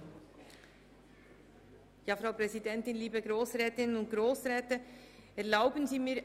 Nun hat Frau Regierungsrätin Simon das Wort.